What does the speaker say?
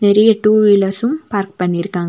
நிறைய டூவீலர்ஸும் பார்க் பண்ணி இருக்காங்க.